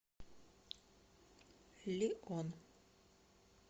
лион